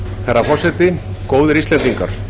herra forseti góðir íslendingar